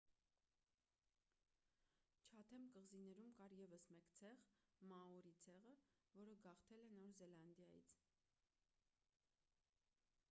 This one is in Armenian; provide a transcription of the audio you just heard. չաթեմ կղզիներում կար ևս մեկ ցեղ մաորի ցեղը որը գաղթել է նոր զելանդիայից